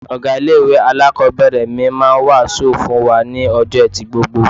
Ọ̀gá ilé-ìwé alákọ̀ọ́bẹ̀rẹ̀ mi máa ń wàásù fún wa ní ọjọ́ Ẹtì gbogbo.